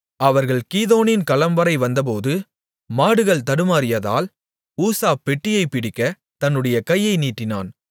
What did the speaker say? அவர்கள் கீதோனின் களம்வரை வந்தபோது மாடுகள் தடுமாறியதால் ஊசா பெட்டியைப் பிடிக்கத் தன்னுடைய கையை நீட்டினான்